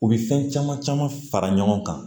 U bɛ fɛn caman caman fara ɲɔgɔn kan